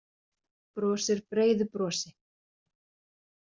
Brosir breiðu brosi.